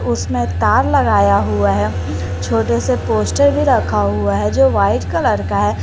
उसमें तार लगाया हुआ है छोटे से पोस्टर भी रखा हुआ है जो वाइट कलर का है।